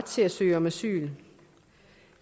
til at søge om asyl